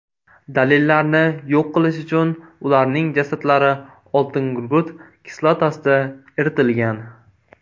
Dalillarni yo‘q qilish uchun ularning jasadlari oltingugurt kislotasida eritilgan.